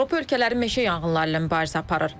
Avropa ölkələri meşə yanğınları ilə mübarizə aparır.